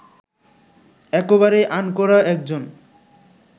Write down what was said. একেবারেই আনকোড়া একজন